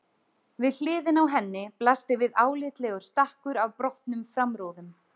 Við hliðina á henni blasti við álitlegur stakkur af brotnum framrúðum.